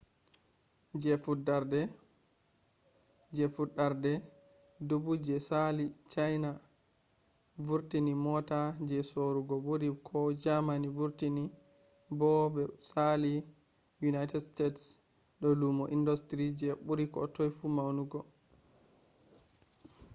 je fuɗɗarde duɓu je saali china vurtini mota ji sorugo ɓuri ko germany vurtini bo ɓe saali united states do lumo industry je ɓuri ko toi maunugo